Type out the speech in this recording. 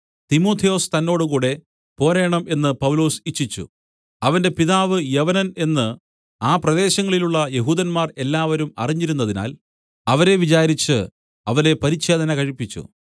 തിമൊഥെയൊസ് തന്നോടുകൂടെ പോരേണം എന്ന് പൗലൊസ് ഇച്ഛിച്ചു അവന്റെ പിതാവ് യവനൻ എന്ന് ആ പ്രദേശങ്ങളിലുള്ള യെഹൂദന്മാർ എല്ലാവരും അറിഞ്ഞിരുന്നതിനാൽ അവരെ വിചാരിച്ച് അവനെ പരിച്ഛേദന കഴിപ്പിച്ചു